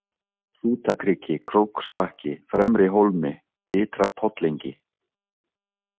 Hrútakriki, Króksbakki, Fremrihólmi, Ytra-Pollengi